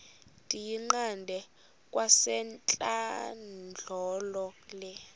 ndiyiqande kwasentlandlolo le